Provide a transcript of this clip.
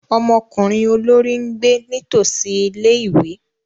Ọmọkunrin olori n gbe nitosi ìlé-ìwé.